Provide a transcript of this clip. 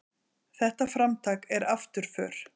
Þetta framtak er afturför.